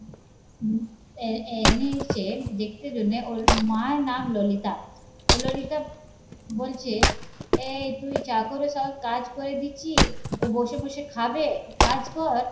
এ এনেছে দেখতে জন্যে ওর মায়ের নাম ললিতা ওই ললিতা বলছে এই তুই চাকরের সব কাজ করে দিচ্ছি ও বসে বসে খাবে? কাজ কর